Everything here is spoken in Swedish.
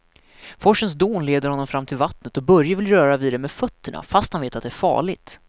Forsens dån leder honom fram till vattnet och Börje vill röra vid det med fötterna, fast han vet att det är farligt.